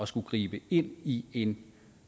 skulle gribe ind i en